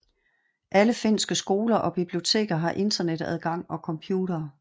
Alle finske skoler og biblioteker har Internetadgang og computere